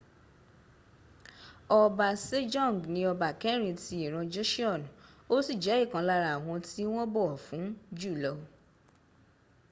ọba sejong ni ọba kẹrin ti ìran joseon ó sì jẹ́ ìkan lára àwọn tí wọ́n bọ̀wọ̀ fún jùlọ